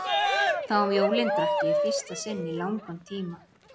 Þá um jólin drakk ég í fyrsta sinn í langan tíma.